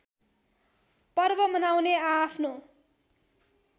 पर्व मनाउने आआफ्नो